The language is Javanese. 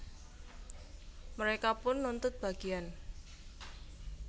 Mereka pun nuntut bagian